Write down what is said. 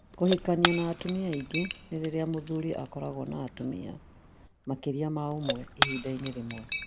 Kũhikania na atumia aingĩ nĩ rĩrĩa mũthuri akoragwo na atumia makĩria ma ũmwe ihinda-inĩ rĩmwe